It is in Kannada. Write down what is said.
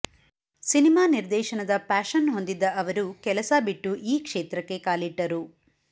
ಸಿನಿಮಾ ನಿರ್ದೇಶನದ ಪ್ಯಾಷನ್ ಹೊಂದಿದ್ದ ಅವರು ಕೆಲಸ ಬಿಟ್ಟು ಈ ಕ್ಷೇತ್ರಕ್ಕೆ ಕಾಲಿಟ್ಟರು